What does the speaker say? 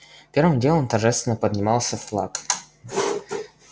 первым делом торжественно поднимался флаг